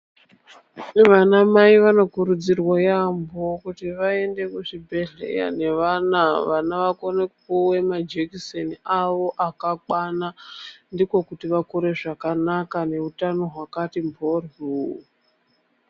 Vanamai vanokurudzirwa yaamho kuti vaende kuzvibhedhlera nevana, vana vakone kupiwa majekiseni avo akakwana, ndiko kuti vakure zvakanaka neutano hwakati mhoryo.